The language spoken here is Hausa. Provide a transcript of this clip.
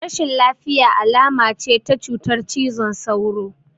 Rashin lafiya alama ce ta cutar cizon sauro